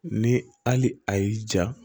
Ni hali a y'i ja